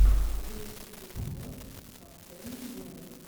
лучший эпизод каптэйнблек